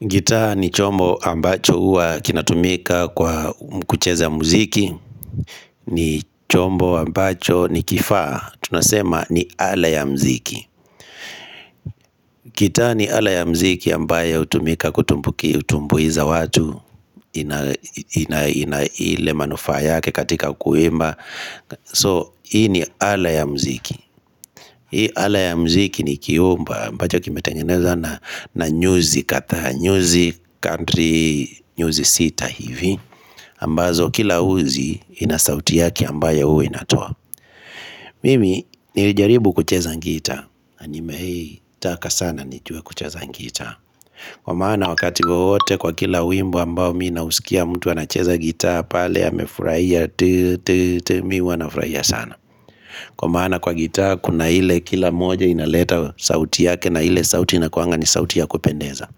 Gita ni chombo ambacho huwa kinatumika kwa kucheza muziki ni chombo ambacho ni kifaa Tunasema ni ala ya muziki gita ni ala ya muziki ambayo hutumika kutumbuiza watu ina ile manufaa yake katika kuimba So hii ni ala ya muziki Hii ala ya muziki ni kiumba ambacho kimetengenezwa na nyuzi kadhaa nyuzi kadri, nyuzi sita hivi, ambazo kila uzi inasauti yake ambayo huwa inatoa. Mimi, nilijaribu kucheza gita, na nimetaka sana nijue kucheza gita. Kwa maana wakati wote kwa kila wimbo ambao mimi nausikia mtu anacheza gita, pale amefurahia. Mimi huwa nafurahia sana. Kwa maana kwa gita, kuna ile kila moja inaleta sauti yake na ile sauti inakuanga ni sauti ya kupendeza.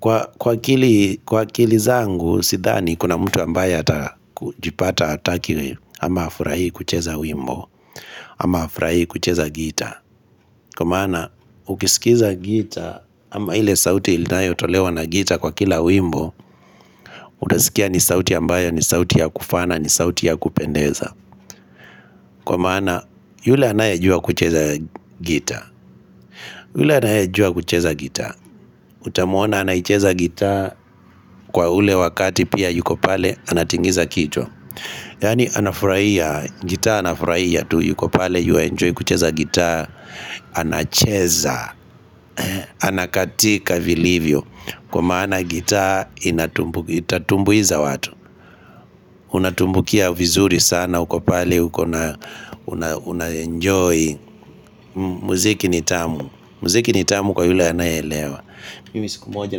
Kwa akili zangu, sidhani kuna mtu ambaye hata kujipata hataki ama hafurahii kucheza wimbo, ama hafurahii kucheza gita, Kwa maana ukisikiza gita ama ile sauti inayotolewa na gita kwa kila wimbo Utasikia ni sauti ambayo ni sauti ya kufana ni sauti ya kupendeza Kwa maana yule anayejua kucheza gita, yule anayejua kucheza gita, Utamuona anacheza gita kwa ule wakati pia yuko pale anatingiza kichwa Yaani anafurahia, gita anafurahia tu yuko pale yuaenjoy kucheza gita. Anacheza, anakatika vilivyo Kwa maana gita itatumbuiza watu Unatumbukia vizuri sana uko pale, unaenjoy Muziki nitamu, muziki nitamu kwa yule anaeelewa. Mimi siku moja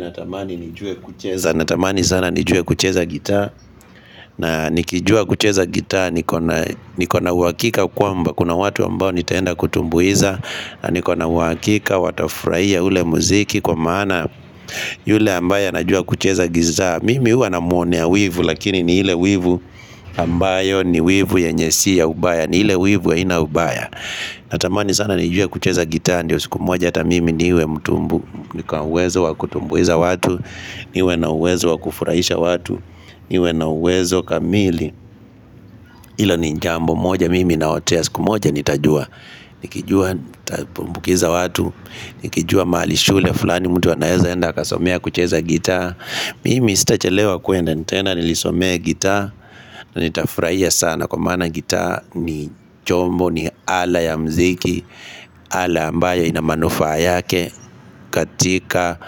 natamani nijue kucheza Natamani sana nijue kucheza gita na nikijua kucheza gita niko na niko na uhakika kwamba kuna watu ambao nitaenda kutumbuiza. Na niko na uhakika watafurahia ule muziki Kwa maana yule ambaye Najua kucheza gita Mimi huwa namwonea wivu lakini ni ile wivu ambayo ni wivu yenye sio ya ubaya. Ni ile wivu haina ubaya. Natamani sana nijue kucheza gita Ndio siku moja hata mimi niwe, niko na uwezo wa kutumbuiza watu niwe na uwezo wa kufurahisha watu niwe na uwezo kamili Hilo ni jambo moja mimi naotea siku moja nitajua Nikijua nitatumbukiza watu Nikijua mahali shule fulani mtu anaezaenda Kasomea kucheza gita Mimi sitachelewa kuenda nitaenda Nisomee gita na nitafurahia sana Kwa maana gita ni chombo ni ala ya mziki Ala ambayo inamanufaa yake katika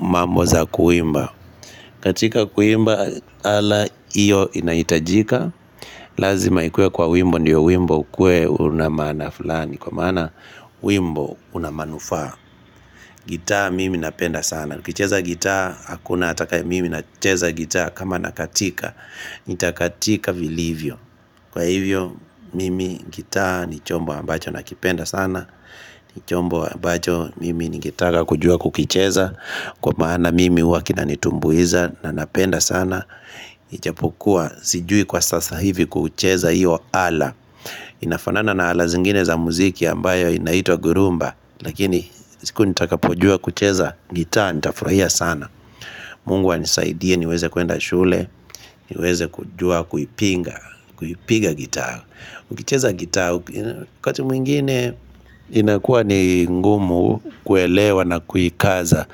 Mamboza kuimba katika kuimba Ala hiyo inahitajika Lazima ikuwe kwa wimbo Ndio wimbo ukue una maana fulani. Kwa maana wimbo Unamanufaa. Gita mimi napenda sana. Nikicheza gita hakuna atakaye mimi nacheza gita kama nakatika Nitakatika vilivyo. Kwa hivyo mimi gita ni chombo ambacho nakipenda sana ni chombo ambacho Mimi ningetaka kujua kukicheza Kwa maana mimi huwa kinanitumbuiza na napenda sana Ijapokua, sijui kwa sasa hivi kucheza hiyo ala Inafanana na ala zingine za muziki ambayo inaitwa 'gurumba' Lakini siku nitakapojua kucheza gita, nitafurahia sana Mungu anisaidie, niweze kuenda shule, niweze kujua kuipiga, kuipiga gita ukicheza gita, wakati mwingine inakuwa ni ngumu kuelewa na kuikaza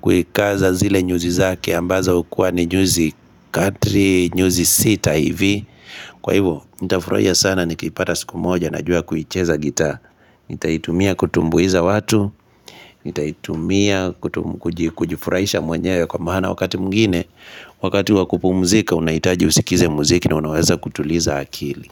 Kuikaza zile nyuzi zake ambazo kuwa ni nyuzi kadri, nyuzi sita hivi Kwa hivyo, nitafurahia sana nikipata siku moja najua kuicheza gita Nitaitumia kutumbuiza watu Nitaitumia kujifuraisha mwanyewe kwa mahana wakati mungine Wakati wakupumzika, unahitaji usikize muziki na unaweza kutuliza akili.